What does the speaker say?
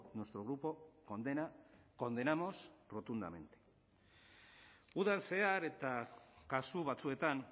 nuestro grupo condena condenamos rotundamente udan zehar eta kasu batzuetan